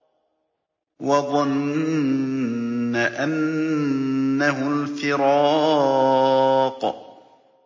وَظَنَّ أَنَّهُ الْفِرَاقُ